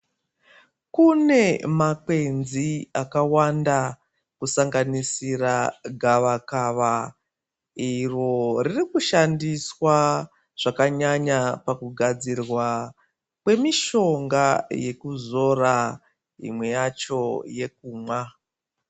Kune makwenzi akawanda kusanganisira gavakawa iro ririkushandiswa zvakanyanya pakugadzirwa kwemishonga yekuzora imweni yacho yekumwa.